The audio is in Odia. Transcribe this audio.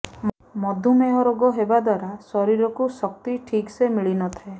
ମଧୁମେହ ରୋଗ ହେବା ଦ୍ୱାରା ଶରୀରକୁ ଶକ୍ତି ଠିକ ସେ ମିଳିନଥାଏ